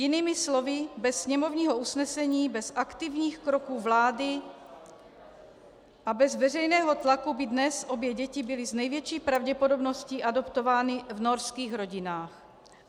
Jinými slovy, bez sněmovního usnesení, bez aktivních kroků vlády a bez veřejného tlaku by dnes obě děti byly s největší pravděpodobností adoptovány v norských rodinách.